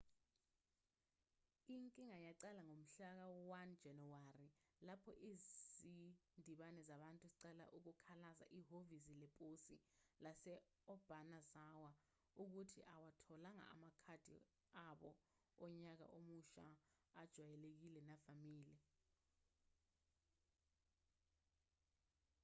inkinga yaqala ngomhlaka-1 janawari lapho izindimbane zabantu ziqala ukukhalaza ehhovisi leposi lase-obanazawa ukuthi abawatholanga amakhadi abo onyaka omusha ajwayelekile navamile